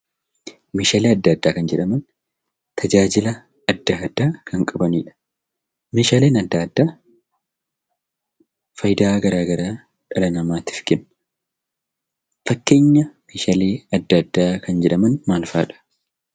Meeshaalee adda addaa kan jedhaman tajaajila adda addaa kan qabanidhaa. Meeshaaleen adda addaa faayidaa adda addaa dhala namaatiif kennu.